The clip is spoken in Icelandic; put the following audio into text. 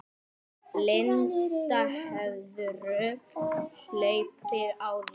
Linda: Hefurðu hlaupið áður?